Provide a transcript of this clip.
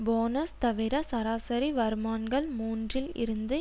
bonus தவிர சராசரி வருமான்கள் மூன்றில் இருந்து